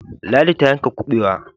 Ladi ta yanka kubewa.